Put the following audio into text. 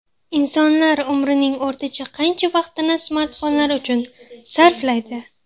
Insonlar umrining o‘rtacha qancha vaqtini smartfonlar uchun sarflaydi?.